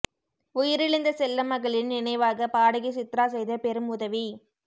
உயிரிழந்த செல்ல மகளின் நினைவாக பாடகி சித்ரா செய்த பெரும் உதவி